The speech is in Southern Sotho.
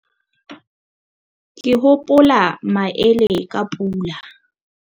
ke hopola maele ka pula